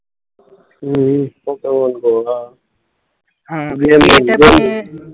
હમ્મ